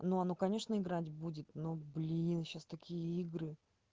ну оно конечно играть будет но блин сейчас такие игры